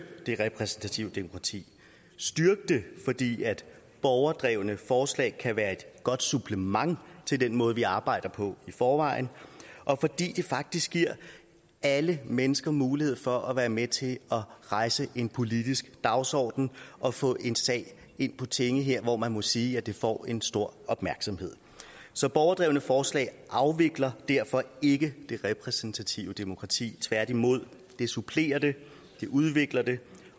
det repræsentative demokrati styrke det fordi borgerdrevne forslag kan være et godt supplement til den måde vi arbejder på i forvejen og fordi det faktisk giver alle mennesker mulighed for at være med til at rejse en politisk dagsorden og få en sag ind på tinge her hvor man må sige at det får en stor opmærksomhed så borgerdrevne forslag afvikler derfor ikke det repræsentative demokrati tværtimod det supplerer det det udvikler det